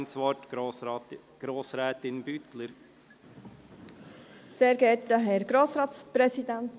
Die Regierung will diese als Postulat annehmen.